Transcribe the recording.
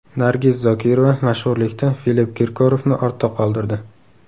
Nargiz Zokirova mashhurlikda Filipp Kirkorovni ortda qoldirdi.